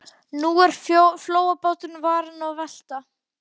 Og nú er flóabáturinn farinn að velta.